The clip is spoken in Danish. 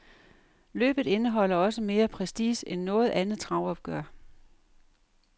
Løbet indeholder også mere prestige end noget andet travopgør.